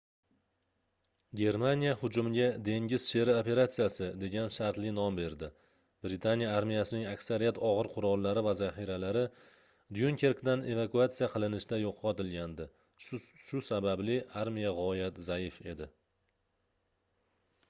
germaniya hujumga dengiz sheri operatsiyasi degan shartli nom berdi britaniya armiyasining aksariyat ogʻir qurollari va zaxiralari dyunkerkdan evakuatsiya qilinishda yoʻqotilgandi shu sababli armiya gʻoyat zaif edi